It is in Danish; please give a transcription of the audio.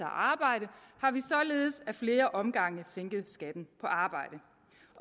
arbejde har vi således ad flere omgange sænket skatten på arbejde